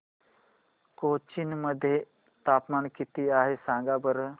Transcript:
कोचीन मध्ये तापमान किती आहे सांगा बरं